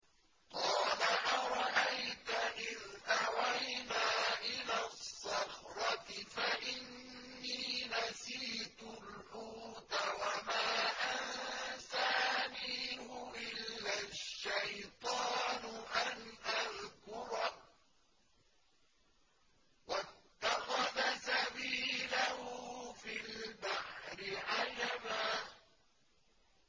قَالَ أَرَأَيْتَ إِذْ أَوَيْنَا إِلَى الصَّخْرَةِ فَإِنِّي نَسِيتُ الْحُوتَ وَمَا أَنسَانِيهُ إِلَّا الشَّيْطَانُ أَنْ أَذْكُرَهُ ۚ وَاتَّخَذَ سَبِيلَهُ فِي الْبَحْرِ عَجَبًا